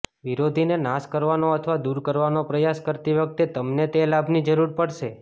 વિરોધીને નાશ કરવાનો અથવા દૂર કરવાનો પ્રયાસ કરતી વખતે તમને તે લાભની જરૂર પડશે